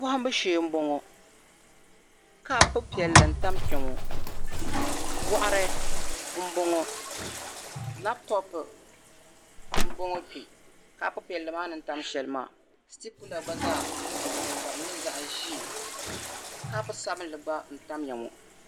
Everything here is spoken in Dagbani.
Bɔhimbu shee m-bɔŋɔ kopu piɛlli n-tam kpɛŋɔ bɔɣiri m-bɔŋɔ lapitɔpu m-bɔŋɔ kpe sitipula gba zaa m-bɔŋɔ ka di nyɛ zaɣ' ʒee kopu sabilinli gba n-tamya ŋɔ.